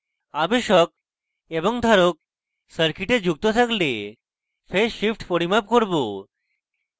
আবেশক এবং ধারক circuit যুক্ত থাকলে phase shift পরিমাপ করব